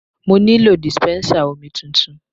Mo nílò dispensa omi tuntun.